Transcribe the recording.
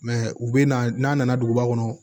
Mɛ u bɛ na n'a nana duguba kɔnɔ